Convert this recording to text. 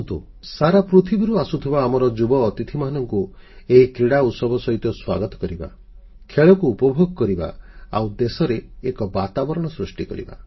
ଆସନ୍ତୁ ସାର ପୃଥିବୀରୁ ଆସୁଥିବା ଆମର ଯୁବଅତିଥିମାନଙ୍କୁ ଏହି କ୍ରୀଡ଼ା ଉତ୍ସବ ସହିତ ସ୍ୱାଗତ କରିବା ଖେଳକୁ ଉପଭୋଗ କରିବା ଆଉ ଦେଶରେ ଏକ ବାତାବରଣ ସୃଷ୍ଟି କରିବା